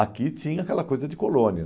Aqui tinha aquela coisa de colônia.